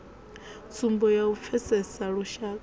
tsumbo ya u pfesesa lushaka